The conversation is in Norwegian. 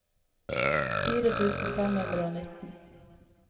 fire tusen fem hundre og nitten